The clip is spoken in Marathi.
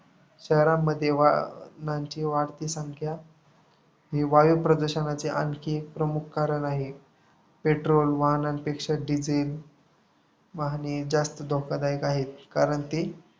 शहरांमध्ये वाहनांची वाढती संख्या वायुप्रदूषणांचे आणखी एक प्रमुख कारण आहे. patrol वाहनांपेक्षा diesel वाहने जास्त धोकादायक आहेत. कारण ते